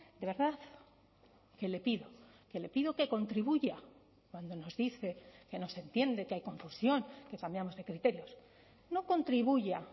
de verdad que le pido que le pido que contribuya cuando nos dice que nos entiende que hay confusión que cambiamos de criterios no contribuya